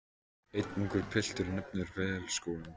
Einn ungur piltur nefnir Vélskólann.